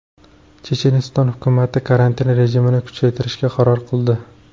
Checheniston hukumati karantin rejimini kuchaytirishga qaror qildi.